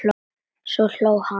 Svo hló hann.